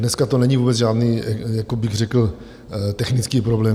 Dneska to není vůbec žádný, bych řekl, technický problém.